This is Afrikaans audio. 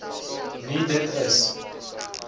nie dit is